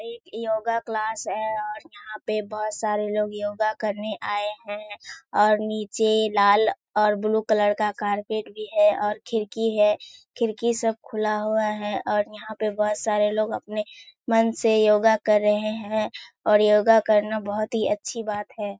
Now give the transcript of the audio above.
एक yoga class है और यहाँ पे बहुत सारे लोग योगा करने आये हैं और नीचे लाल और ब्‍लू कलर का कारपेट भी है और खिड़की है। खिड़की सब खुला हुआ है और यहाँ पे बहुत सारे लोग अपने मन से योगा कर रहें हैं और योगा करना बहुत ही अच्‍छी बात है।